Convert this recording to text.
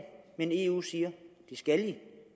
men eu siger det skal i